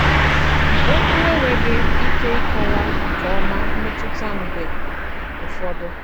Òkwù ènweghị ìkè ịkọwà nke òma mmètùtà m mg̀bè ụfọdụ. ”